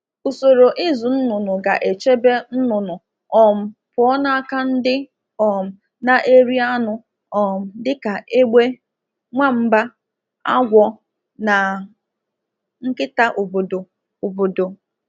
Ụlọ ọzụzụ ọkụkọ kwesịrị ịchekwa ụmụ ọkụkọ pụọ n'aka anụ ọhịa ndị ndị pụrụ iri ha dịka egbe, agwọ, nwa mba, nkịta